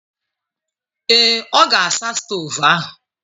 Ee. ọ ga-asa stovu ahụ.